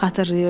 Xatırlayırdı.